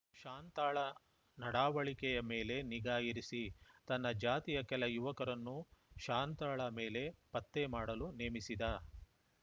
ಶಾಂತಾಳ ನಡಾವಳಿಕೆಯ ಮೇಲೆ ನಿಗಾ ಇರಿಸಿ ತನ್ನ ಜಾತಿಯ ಕೆಲ ಯುವಕರನ್ನ ಶಾಂತಾಳ ಮೇಲೆ ಪತ್ತೇಮಾಡಲು ನೇಮಿಸಿದ